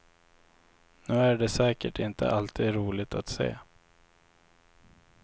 Nu är det säkert inte alltid roligt att se.